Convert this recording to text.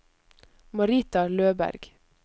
Marita Løberg